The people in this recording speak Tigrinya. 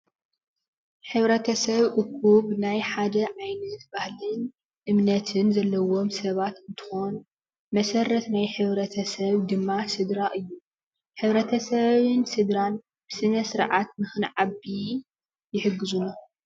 ሕብረተሰብ እኩብ ናይ ሓደ ዓይነት ባሀሊን እምነትን ዘለዎም ሰባት እትከውን መሰረት ናይ ሕብረተሰብ ድማ ስድራ እዩ። ሕብረተሰብን ስድራ ብስነ ስርዓት ንክንዓቢ ይሕግዙና።